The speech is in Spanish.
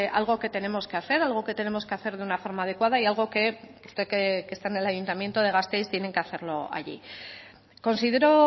algo que tenemos que hacer algo que tenemos que hacer de una forma adecuada y algo que usted que está en el ayuntamiento de gasteiz tienen que hacerlo allí considero